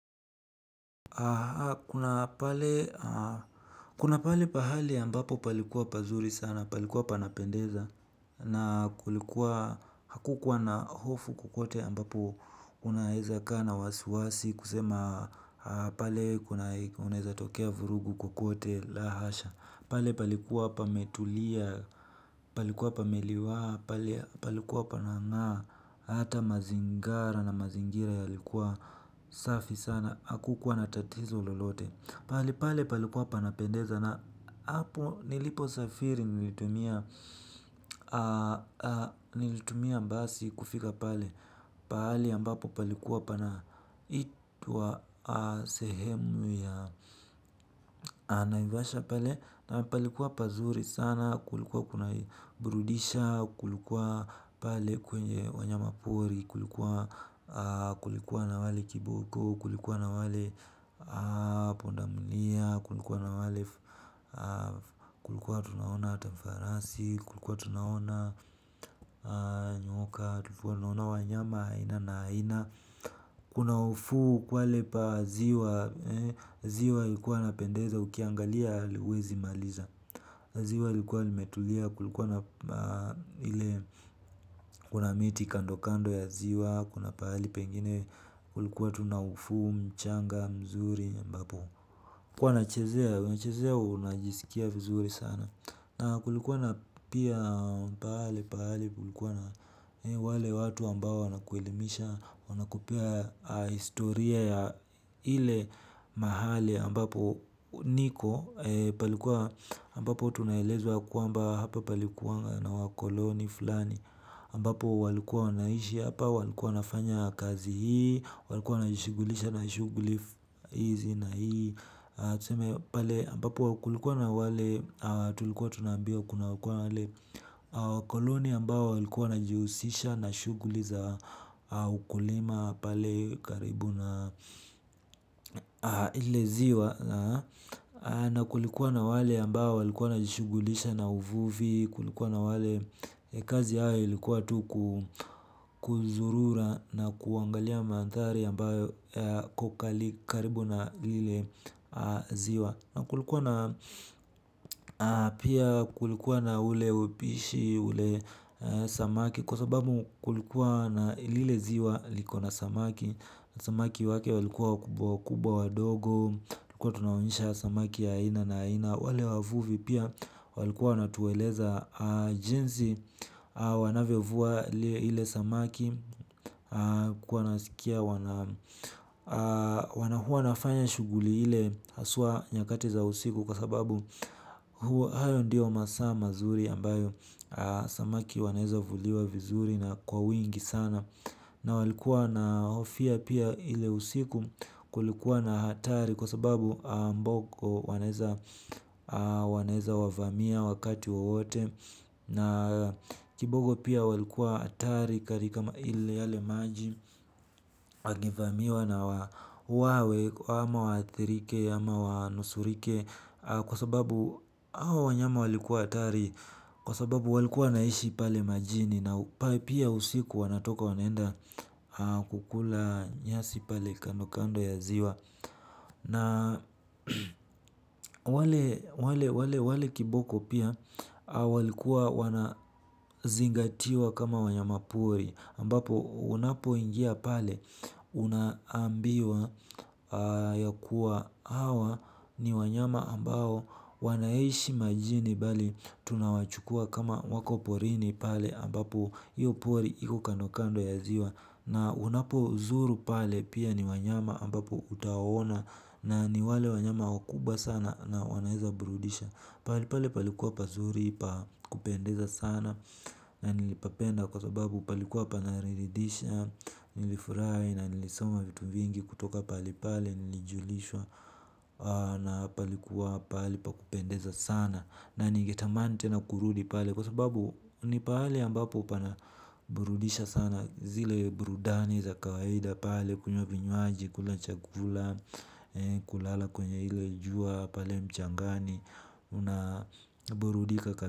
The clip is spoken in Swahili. Kuna pale pahali ambapo palikuwa pazuri sana palikuwa panapendeza na kulikuwa hakukuwa na hofu kokote ambapo unaweza kaa na wasiwasi kusema pale kunaweza tokea vurugu kokote, la hasha. Pale palikuwa pametulia palikuwa pameliwaa, pale palikuwa panangaa, hata mazingara na mazingira yalikuwa safi sana, hakukuwa natatizo lolote. Pahali pale palikuwa panapendeza na hapo nilipo safiri nilitumia basi kufika pale. Pahali ambapo palikuwa panaitwa sehemu ya naivasha pale. Na palikuwa pazuri sana, kulikuwa kuna burudisha, kulikuwa pale kwenye wanyama pori. Kulikuwa na wale kiboko, kulikuwa na wale pundamilia. Kulikuwa na wale kulikuwa tunaona hata farasi, kulikuwa tunaona nyoka tulikuwa tunaona wanyama aina na aina kuna ufuo kwale pa ziwa ziwa ilikuwa inapendeza ukiangalia hewezi maliza ziwa lilikuwa limetulia kulikuwa na ile kuna miti kando kando ya ziwa kuna pali pengine kulikuwa tuna ufuo mchanga mzuri mbapo huwanachezea unachezea unajisikia vizuri sana na kulikuwa na pia pahale pahali kulikuwa na wale watu ambao wana kueilimisha wana kupea historia ya ile mahali ambapo niko palikuwa ambapo tunaelezwa yakwamba hapa palikuwa na wakoloni fulani ambapo walikuwa wanaishi, hapa walikuwa wanafanya kazi hii, walikuwa wanajishughulisha na shughuli hizi na hii. Tuseme pale ambapo kulikuwa na wale tulikuwa tunaambiwa kunakuwa na wale wakoloni ambao walikuwa nawajihusisha na shughuli za ukulima pale karibu na ile ziwa na kulikuwa na wale ambao walikuwa wanajishughulisha na uvuvi kulikuwa na wale kazi haya ilikuwa tu kuzurura na kuangalia mandhari ambayo karibu na lile ziwa na kulikuwa na pia kulikuwa na ule upishi ule samaki. Kwa sababu kulikuwa na lile ziwa liko na samaki. Samaki wake walikuwa wakubwa wakubwa wadogo tulikuwa tunawaonyesha samaki ya ina na ina. Wale wavuvi pia walikuwa wanatueleza jinsi wanavyo vua ile samaki. Kuwa nasikia wanahua nafanya shuguli ile Asua nyakati za usiku. Kwa sababu hayo ndiyo masaa mazuri ambayo samaki wanaweza vuliwa vizuri na kwa wingi sana. Na walikuwa na hofia pia ile usiku kulikuwa na atari. Kwa sababu mboko wanaweza wavamia wakati wowote. Na kibogo pia walikuwa hatari katika yale maji. Wange vamiwa na wauwawe ama wadhirike ama wanusurike. Kwa sababu hawa wanyama walikuwa hatari. Kwa sababu walikuwa wanaishi pale majini na pia usiku wanatoka wanaenda kukula nyasi pale kando kando ya ziwa. Na wale kiboko pia walikuwa wanazingatiwa kama wanyama pori ambapo unapo ingia pale unambiwa ya kuwa hawa ni wanyama ambao wanaishi majini bali tunawachukua kama wako porini pale ambapo hiyo pori iko kando kando ya ziwa. Na unapo zuru pale pia ni wanyama ambapo utaona na ni wale wanyama wakubwa sana na wanaweza burudisha. Pahali pale palikuwa pazuri pa kupendeza sana na nilipapenda kwa sababu palikuwa pananiridisha nilifurahi na nilisoma vitu vingi kutoka pahali pale nilijulishwa na palikuwa pahali pa kupendeza sana na nigetamani tena kurudi pale. Kwa sababu ni pale ambapo pana burudisha sana zile burudani za kawaida pale kunywa vinywaji kula chakula kulala kwenye ile jua pale mchangani unaburudika ka.